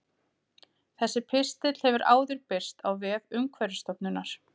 Þessi pistill hefur áður birst á vef Umhverfisstofnunar.